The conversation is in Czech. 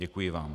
Děkuji vám.